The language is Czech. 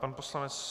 Pan poslanec